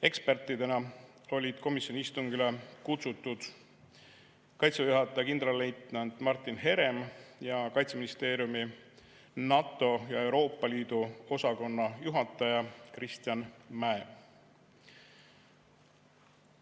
Ekspertidena olid komisjoni istungile kutsutud Kaitseväe juhataja kindralleitnant Martin Herem ja Kaitseministeeriumi NATO ja Euroopa Liidu osakonna juhataja Kristjan Mäe.